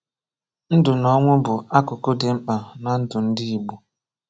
Ndụ na ọnwụ bụ akụkụ dị mkpa na ndụ ndị Igbo.